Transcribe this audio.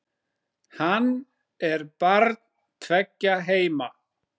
Hann er barn tveggja heima.